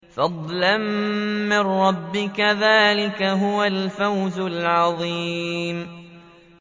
فَضْلًا مِّن رَّبِّكَ ۚ ذَٰلِكَ هُوَ الْفَوْزُ الْعَظِيمُ